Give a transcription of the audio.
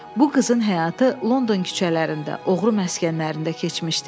Bu qızın həyatı London küçələrində, oğru məskənlərində keçmişdi.